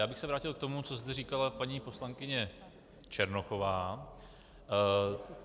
Já bych se vrátil k tomu, co zde říkala paní poslankyně Černochová.